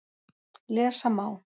Lesa má